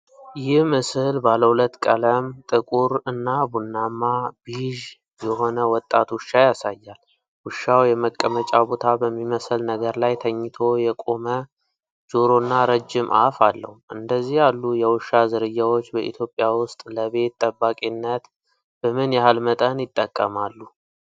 ይህ ምስል ባለ ሁለት ቀለም (ጥቁር እና ቡናማ/ቢዥ) የሆነ ወጣት ውሻ ያሳያል። ውሻው የመቀመጫ ቦታ በሚመስል ነገር ላይ ተኝቶ የቆመ ጆሮና ረጅም አፍ አለው። እንደዚህ ያሉ የውሻ ዝርያዎች በኢትዮጵያ ውስጥ ለ ቤት ጠባቂነትት በምን ያህል መጠን ይጠቀማሉ?